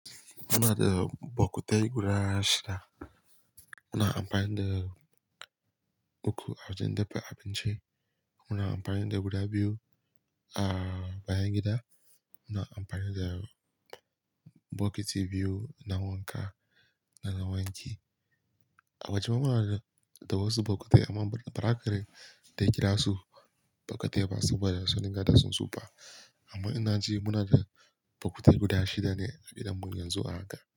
Muna da bokitai guda shida. Muna amfani da uku a wajen dafa abinci. Muna amfani da guda biyu a bayan gida. Muna amfani da bokiti biyu na wanka da na wanki. A waje ma muna da wasu bokitai amma baza ka dai ƙira su bokitai ba saboda sun riga da sun tsufa. Amma ina ji muna da bokitai guda shida ne a gidanmu yanzu a haka.